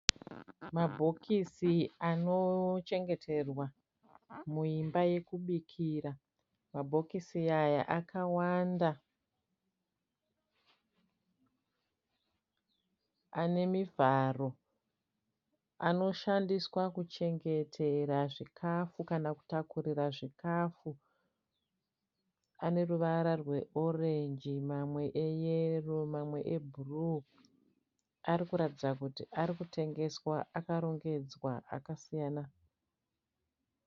Mabhokisi anochengeterwa muyimba yekubikira. Mabhokisi aya akawanda ane mivharo. Anoshandiswa kuchengera zvikafu kana kutakurira zvikafu. Ane ruvara rwe orenji mamwe ayero mamwe ebhuruu. Ari kuratidza kuti ari kutengeswa akarongedzwa akasiyana.